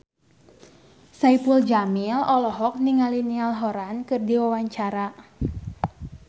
Saipul Jamil olohok ningali Niall Horran keur diwawancara